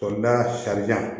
sarida